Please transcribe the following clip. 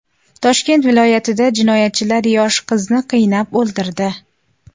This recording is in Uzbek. Toshkent viloyatida jinoyatchilar yosh qizni qiynab o‘ldirdi.